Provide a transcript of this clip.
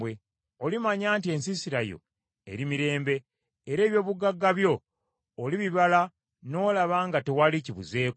Olimanya nti, ensiisira yo eri mirembe; era eby’obugagga byo olibibala n’olaba nga tewali kibuzeeko.